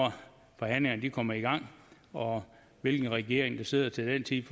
forhandlingerne kommer i gang og hvilken regering der sidder til den tid